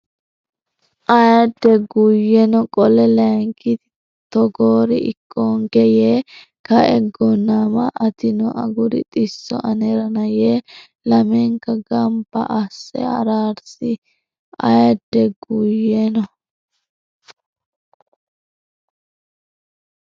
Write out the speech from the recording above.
Aadde Guyyeno qole Layinkita togoori ikkoonke yee kae Gonnama atino aguri xisso anerana yee lamenka gamba asse araarisi Aadde Guyyeno.